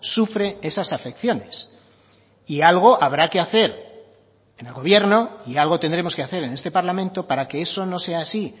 sufre esas afecciones y algo habrá que hacer en el gobierno y algo tendremos que hacer en este parlamento para que eso no sea así